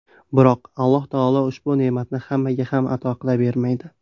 Biroq Alloh taolo ushbu ne’matni hammaga ham ato qilavermaydi.